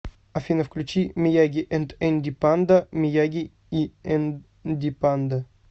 афина включи мияги энд энди панда мияги и энди панда